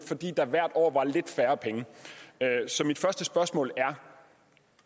fordi der hvert år var lidt færre penge så mit første spørgsmål er